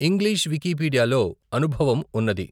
English Wikipedia లో అనుభవం ఉన్నది.